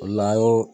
O la an y'o